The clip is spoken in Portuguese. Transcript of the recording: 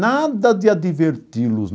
Nada de adverti-los.